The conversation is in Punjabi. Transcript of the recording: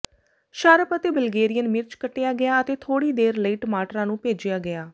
ਸ਼ਾਰਪ ਅਤੇ ਬਲਗੇਰੀਅਨ ਮਿਰਚ ਕੱਟਿਆ ਗਿਆ ਅਤੇ ਥੋੜ੍ਹੀ ਦੇਰ ਲਈ ਟਮਾਟਰਾਂ ਨੂੰ ਭੇਜਿਆ ਗਿਆ